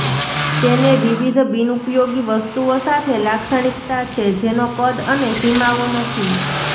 તેને વિવિધ બિનઉપયોગી વસ્તુઓ સાથે લાક્ષણિકતા છે જેનો કદ અને સીમાઓ નથી